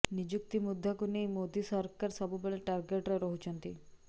ନିଯୁକ୍ତି ମୁଦ୍ଦାକୁ ନେଇ ମୋଦି ସରକାର ସବୁବେଳେ ଟାର୍ଗେଟରେ ରହୁଛନ୍ତି